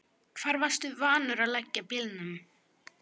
Hvar varstu vanur að leggja bílnum?